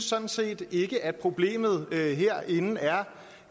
sådan set ikke synes at problemet herinde er